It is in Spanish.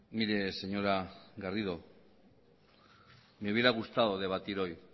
mire señora garrido me hubiera gustado debatir hoy